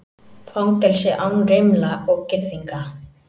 Fangelsi án rimla og girðinga